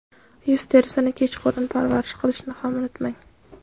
Yuz terisini kechqurun parvarish qilishni ham unutmang.